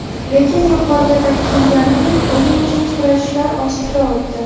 Lekin yuqorida ta’kidlaganimdek o‘yin teng kurashlar ostida o‘tdi.